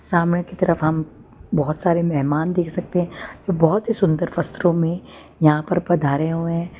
समाने की तरफ हम बहोत सारे मेहमान देख सकते हैं बहुत ही सुंदर वस्त्रों में यहां पर पधारे हुए हैं।